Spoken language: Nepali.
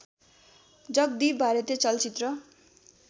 जगदीप भारतीय चलचित्र